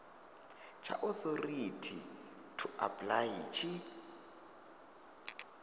tsha authority to apply tshi